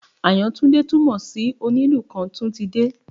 Àyàntúndé túmọ̀ sí Onílù kan tún ti dé